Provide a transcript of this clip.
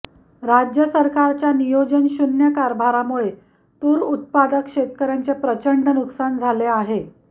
राज्य सरकारच्या नियोजनशून्य कारभारामुळे तूर उत्पादक शेतकऱयांचे प्रचंड नुकसान झाले आहे